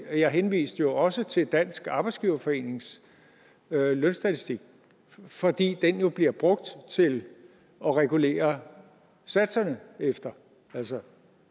jeg henviste jo også til dansk arbejdsgiverforenings lønstatistik fordi den jo bliver brugt til at regulere satserne efter altså